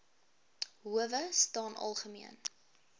howe staan algemeen